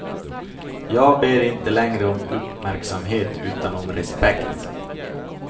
Jag ber inte längre om uppmärksamhet utan om respekt.